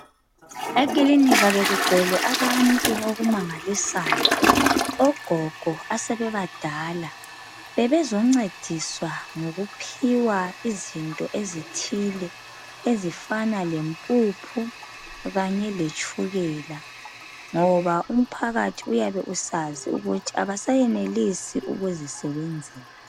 Ekilinika bekugcwele abantu okumangalisayo. Ogogo asebebadala bebezoncediswa ngokuphiwa izinto ezithile ezifana lempuphu kanye letshukela ngoba umphakathi uyabe usazi ukuthi abasayenelisi ukuzisebenzela.